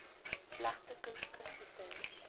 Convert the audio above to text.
gevlegde koek koeksisters